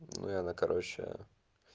и она короче